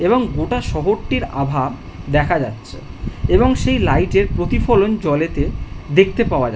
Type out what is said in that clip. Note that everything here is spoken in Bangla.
এবং গোটা শহরটির আভা দেখা যাচ্ছে এবং সেই লাইট এর প্রতিফলন জলেতে দেখতে পাওয়া যা --